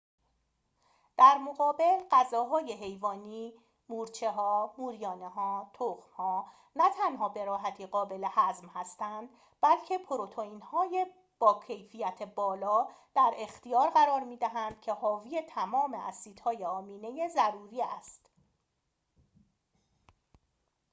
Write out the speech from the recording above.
در مقابل، غذاهای حیوانی مورچه‌ها، موریانه‌ها‌، تخم‌ها نه تنها به راحتی قابل هضم هستند بلکه پروتئین‌های با کیفیت بالا در اختیار قرار می‌دهند که حاوی تمام اسیدهای آمینه ضروری است